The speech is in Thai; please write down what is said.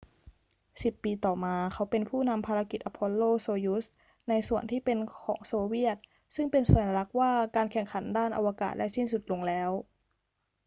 สิบปีต่อมา เขาเป็นผู้นำภารกิจ apollo-soyuz ในส่วนที่เป็นของโซเวียต ซึ่งเป็นสัญลักษณ์ว่าการแข่งขันด้านอวกาศได้สิ้นสุดลงแล้ว